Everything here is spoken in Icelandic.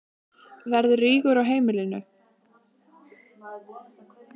Verður rígur á heimilinu?